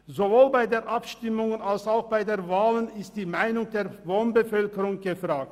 Sowohl bei den Abstimmungen als auch bei den Wahlen ist die Meinung der Wohnbevölkerung gefragt.